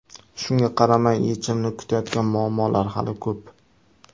Shunga qaramay, yechimini kutayotgan muammolar hali ko‘p.